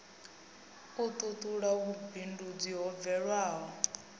u tutula vhumbindudzi ho bvelaho